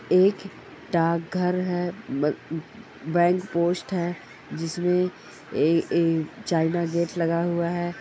एक डाक घर है बै बैंक पोस्ट है जिसमे ए_ एक चाइना गेट लगा हुआ है।